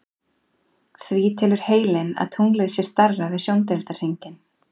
Því telur heilinn að tunglið sé stærra við sjóndeildarhringinn.